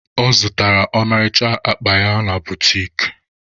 Ọ zụtara ọmarịcha akpa ya na butiki.